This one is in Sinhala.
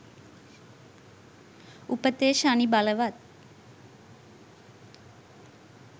උපතේ ශනි බලවත්